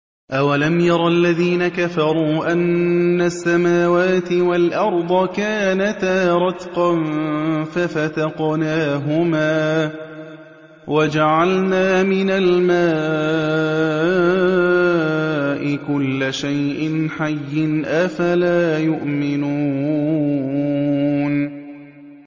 أَوَلَمْ يَرَ الَّذِينَ كَفَرُوا أَنَّ السَّمَاوَاتِ وَالْأَرْضَ كَانَتَا رَتْقًا فَفَتَقْنَاهُمَا ۖ وَجَعَلْنَا مِنَ الْمَاءِ كُلَّ شَيْءٍ حَيٍّ ۖ أَفَلَا يُؤْمِنُونَ